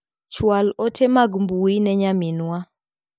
Chwal ote mag mbui ne nyaminwa .